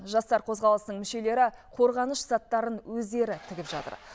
жастар қозғалысының мүшелері қорғаныш заттарын өздері тігіп жатыр